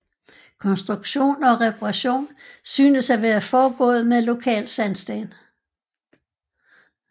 Konstruktion og reparation synes at være foregået med lokal sandsten